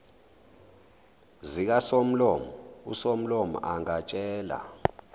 zikasomlomo usomlomo angatshela